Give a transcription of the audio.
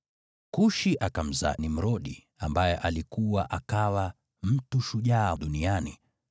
Kushi akamzaa Nimrodi, ambaye alikua akawa mtu shujaa duniani.